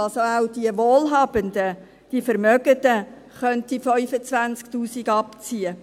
Auch die Wohlhabenden, die Vermögenden können diese 25 000 Franken abziehen.